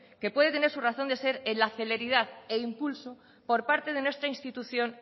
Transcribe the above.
que puede tener su razón de ser en la celeridad e impulso por parte de nuestra institución